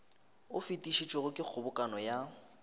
o fetišitšwego ke kgobokano ya